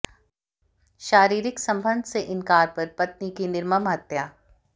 शारीरिक संबंध से इनकार पर पत्नी की निर्मम हत्या